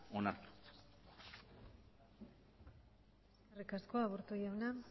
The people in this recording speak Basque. onartu eskerrik asko aburto jauna